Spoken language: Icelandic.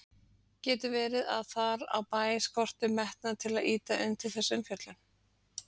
Getur verið að þar á bæ skorti metnað til að ýta undir þessa umfjöllun?